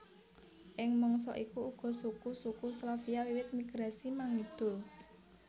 Ing mangsa iku uga suku suku Slavia wiwit migrasi mangidul